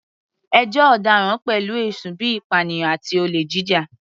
Ẹjọ́ ọ̀daràn pẹ̀lú ẹ̀sùn bíi ìpànìyàn àti olè jíjà.